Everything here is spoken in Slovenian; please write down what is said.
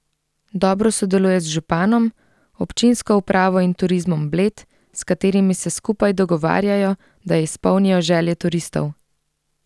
Dobro sodeluje z županom, občinsko upravo in Turizmom Bled, s katerimi se skupaj dogovarjajo, da izpolnijo želje turistov.